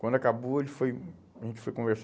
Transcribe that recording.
Quando acabou, ele foi, a gente foi